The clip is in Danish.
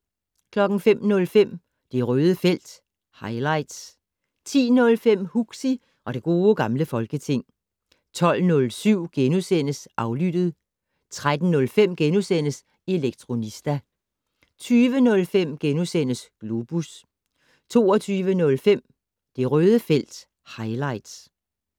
05:05: Det Røde felt - highlights 10:05: Huxi og det gode gamle folketing 12:07: Aflyttet * 13:05: Elektronista * 20:05: Globus * 22:05: Det Røde felt - highlights